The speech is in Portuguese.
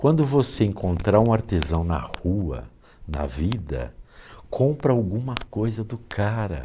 Quando você encontrar um artesão na rua, na vida, compra alguma coisa do cara.